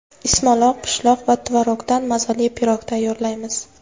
Ismaloq, pishloq va tvorogdan mazali pirog tayyorlaymiz.